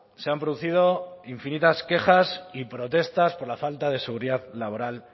se han producido infinitas quejas y protestas por la falta de seguridad laboral